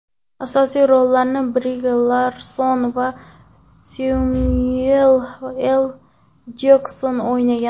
Asosiy rollarni Bri Larson va Semyuel L. Jekson o‘ynagan.